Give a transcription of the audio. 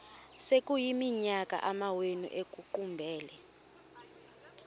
sekuyiminyaka amawenu ekuqumbele